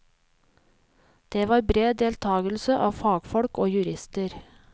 Det var bred deltagelse av fagfolk og jurister.